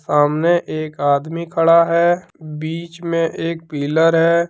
सामने एक आदमी खड़ा है बीच मे एक पीलर है।